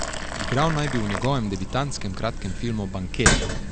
Igral naj bi v njegovem debitantskem kratkem filmu Banket.